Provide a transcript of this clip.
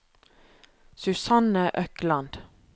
Susanne Økland